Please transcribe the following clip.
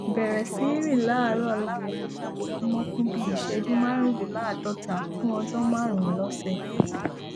bẹrẹ sí rìn láàárọ láàárọ lójoojúmọ fún bí i ìṣẹjú márùndínláàádọta fú ọjọ márùnún lọsẹ